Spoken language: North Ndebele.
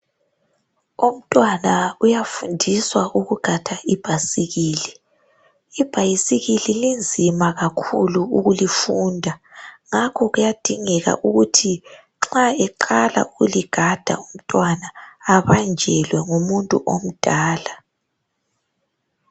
Umtwana uyafundiswa ukugada ibhasikili. Ibhayisikili linzima kakhulu ukulifunda ngakho kuyadingeka ukuthi nxa eqala ukuligada umtwana abanjelwe ngumuntu omdala.